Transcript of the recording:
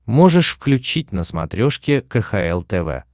можешь включить на смотрешке кхл тв